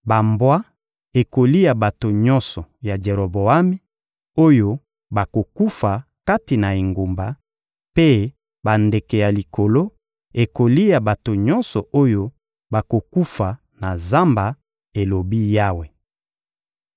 Bambwa ekolia bato nyonso ya Jeroboami, oyo bakokufa kati na engumba; mpe bandeke ya likolo ekolia bato nyonso oyo bakokufa na zamba, elobi Yawe.›»